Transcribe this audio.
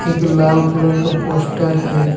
एक लाल कलर का पोस्टर है।